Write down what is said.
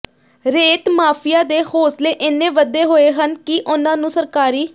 ਰੇਤ ਮਾਫੀਆ ਦੇ ਹੌਸਲੇ ਇੰਨੇ ਵਧੇ ਹੋਏ ਹਨ ਕਿ ਉਨ੍ਹਾਂ ਨੂੰ ਸਰਕਾਰੀ